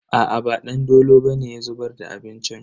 Aa ba Dandolo bane ya zubar da abincin.